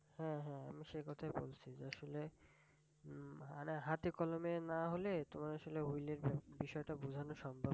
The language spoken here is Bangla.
হ্যাঁ হ্যাঁ আমি সেই কথাটাই বলছি আসলে উম মানে হাতে কলমে না হলে তোমার আসলে হুইলের বিষয়টা বুঝানো সম্ভব